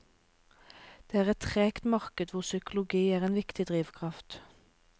Det er et tregt marked hvor psykologi er en viktig drivkraft.